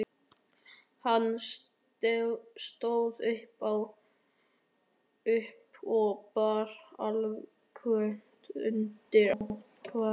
Hann stóð upp og bar ályktun undir atkvæði.